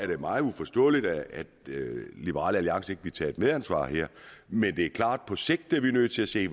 det meget uforståeligt at liberal alliance vil tage et medansvar her men det er klart at på sigt er vi nødt til at se